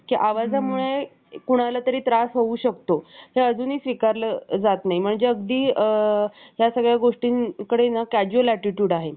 असे संत होते. त्यांचे नाव एकनाथजी महाराज होते. एकनाथजी महाराज यांचे जीवन चरित्र संत एकनाथ महाराज,